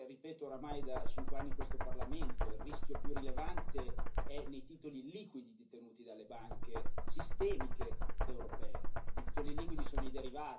Ovvero, quello che ripeto oramai da cinque anni in questo Parlamento, il rischio più rilevante è nei titoli liquidi detenuti dalle banche sistemiche europee.